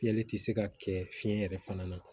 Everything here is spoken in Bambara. Fiyɛli tɛ se ka kɛ fiɲɛ yɛrɛ fana na